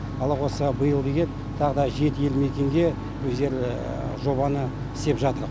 алла қосса биылғыге тағы да жеті елді мекенге өздері жобаны істеп жатыр